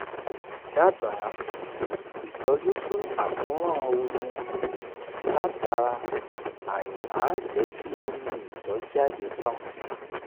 dábàá ìtọ́jú fún àkóràn omi látara aìmáa jẹ́ kí omi ìtọ̀ jáde tán